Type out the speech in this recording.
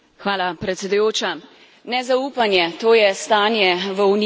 Nezaupanje, to je stanje v Uniji, izguba evropske identitete.